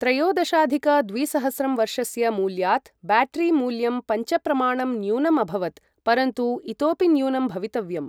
त्रयोदशाधिक द्विसहस्रं वर्षस्य मूल्यात् ब्याटरि मूल्यं पञ्चप्रमाणं न्य़ूनम् अभवत्, परन्तु इतोपि न्य़ूनं भवितव्यम्।